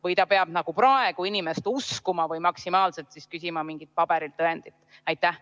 Või ta peab nagu praegu inimest uskuma või maksimaalse võimalusena küsima mingit paberil tõendit?